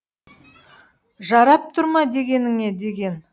жарап тұр ма дегеніңе деген